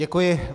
Děkuji.